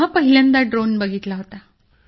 तेव्हा पहिल्यांदा ड्रोन बघितला होता